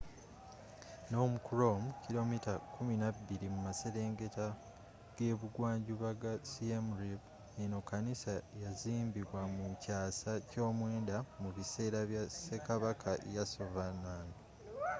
phnom krom kilomita kumi n'abbiri mu maselengetta g'ebungwanjuba ga siem reap eno kanisa yazimbibwa mu kyasa ky'omwendda mu bisera bya sekabaka yasovarman